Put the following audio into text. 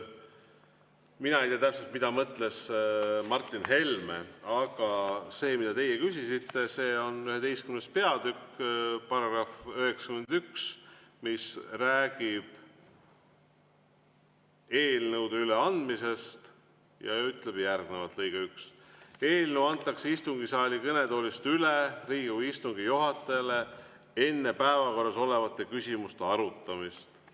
Mina ei tea täpselt, mida mõtles Martin Helme, aga see, mida teie küsisite, see on 11. peatükk § 91, mis räägib eelnõude üleandmisest ja ütleb järgnevalt, lõige 1: "Eelnõu antakse istungisaali kõnetoolist üle Riigikogu istungi juhatajale enne päevakorras olevate küsimuste arutamist.